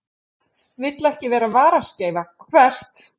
Vill ekki vera varaskeifa Hvert?